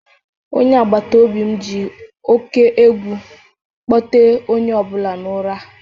Onye agbata obi m ji oke egwu kpọtere onye ọ bụla n'ụra a